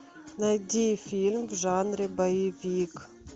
найди фильм в жанре боевик